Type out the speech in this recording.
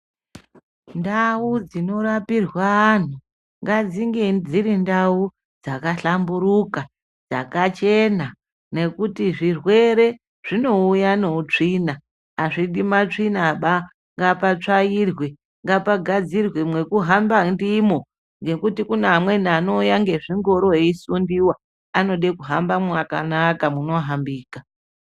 Ndau dzinorapirwe antu ngadzinge dziri ndau dzakahlamburuka, dzakachena nekuti zvirwere zvinouya neutsvina, azvidi matsvinaba ngapatsvairwe, ngapangadzirwe mwekuhamaba ndimwo ngekuti kune amweni anode kuuye ngezvingoro esundiwa anoda kuhambe mwakanaka munohambika.